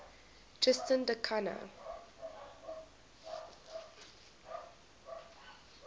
tristan da cunha